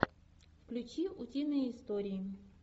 включи утиные истории